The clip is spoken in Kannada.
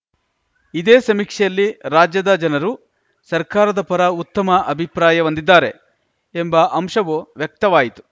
ಇದೇ ಸಮೀಕ್ಷೆಯಲ್ಲಿ ರಾಜ್ಯದ ಜನರು ಸರ್ಕಾರದ ಪರ ಉತ್ತಮ ಅಭಿಪ್ರಾಯ ಹೊಂದಿದ್ದಾರೆ ಎಂಬ ಅಂಶವೂ ವ್ಯಕ್ತವಾಯಿತು